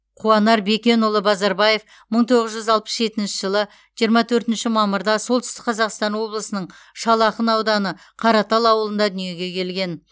қуанар бекенұлы базарбаев мың тоғыз жүз алпыс жетінші жылы жиырма төртінші мамырда солтүстік қазақстан облысының шал ақын ауданы қаратал ауылында дүниеге келген